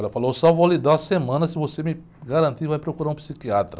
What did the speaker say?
Ela falou, só vou lhe dar uma semana, se você me garantir, vai procurar um psiquiatra.